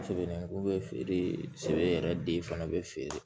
Sɛbɛn ko bɛ feere se e yɛrɛ den fana bɛ feere